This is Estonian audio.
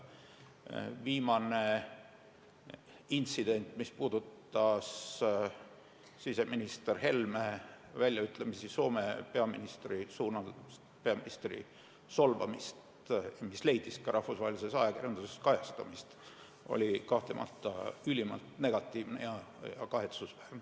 Viimane intsident, mis puudutas siseminister Helme väljaütlemisi Soome peaministri kohta, peaministri solvamist, ja mis leidis ka rahvusvahelises ajakirjanduses kajastamist, oli kahtlemata ülimalt negatiivne ja kahetsusväärne.